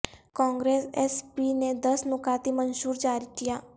Congress S P نے دس نکاتی منشور جاری کیا